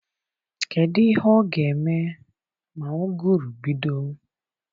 Kedụ ihe ọ ga-eme ma ụgụrụ bido?